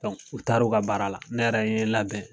u taara u ka baara la ne yɛrɛ n labɛn.